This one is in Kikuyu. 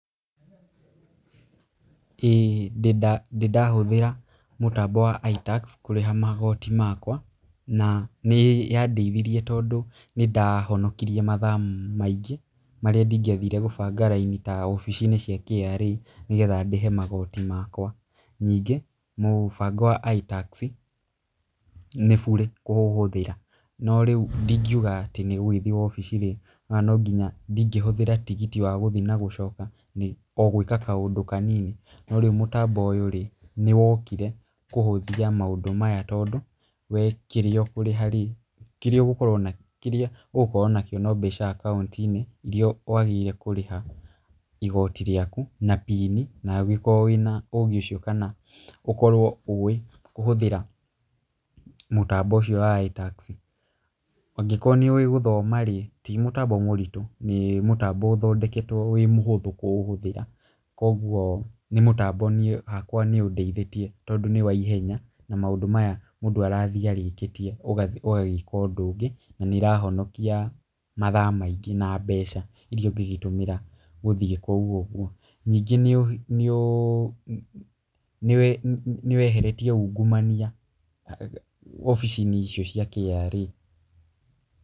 ĩĩ ndĩ ndahũthĩra mütambo wa iTax kũrĩha magoti makwa na nĩ yandeithirie tondũ nĩ ndahonokirie mathaa maingĩ marĩa ndingĩathire gũbanga raini ta wabici-inĩ cia KRA nĩgetha ndĩhe magoti makwa. Ningĩ mũtambo wa iTax nĩ burĩ kũũhũthĩra no rĩu ndingiuaga ati nĩ gũgĩthiĩ wabici rĩ, no nginya ndingĩhũthĩra tigiti wa gũthiĩ na gũcoka o gwĩka kaũndũ kanini. No rĩu mũtambo ũyũ rĩ nĩ wokire kũhũthia maũndũ maya tondũ we kĩrĩa ũkũrĩha rĩ, kĩrĩa ũgũkorwo nakĩo no mbeca akaũnti-inĩ irĩa wagĩrĩire kũrĩha igoti rĩaku na PIN na ũgĩkorwo wĩna ũgĩ ũcio kana ũkorwo ũĩ kũhũthĩra mũtambo ũcio wa iTax. Angĩkorwo nĩ ũĩ gũthoma rĩ, ti mũtambo mũritũ nĩ mũtambo ũthondeketwo wĩ mũhũthũ kũũhũthĩra. Koguo nĩ mũtambo niĩ hakwa nĩ ũndeithĩtie tondũ nĩ wa ihenya na maũndũ maya mũndũ arathiĩ arĩkĩtie ũgathiĩ ũgagĩka ũndũ ũngĩ na nĩ ĩrahonokia mathaa maingĩ na mbeca irĩa ũngĩgĩtũmĩra gũthiĩ kũu ũguo. Ningĩ nĩ weheretie ungumania wabici-inĩ icio cia KRA.